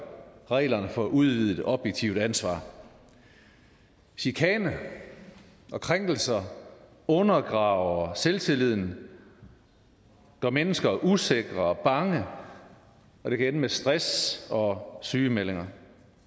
reglerne for udvidet objektivt ansvar chikane og krænkelser undergraver selvtilliden og gør mennesker usikre og bange og det kan ende med stress og sygemeldinger